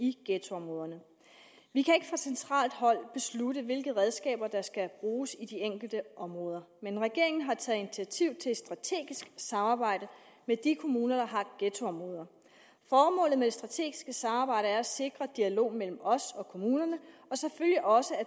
i ghettoområderne vi kan ikke fra centralt hold beslutte hvilke redskaber der skal bruges i de enkelte områder men regeringen har taget initiativ til et strategisk samarbejde med de kommuner der har ghettoområder formålet med det strategiske samarbejde er at sikre dialog mellem os og kommunerne og selvfølgelig også at